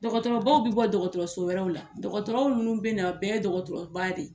Dɔgɔtɔrɔ baw bɛ bɔ dɔgɔtɔrɔso wɛrɛw la, dɔgɔtɔrɔw munnu bɛ na a bɛɛ ye dɔgɔtɔrɔba de ye.